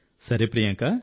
సరే ప్రియాంక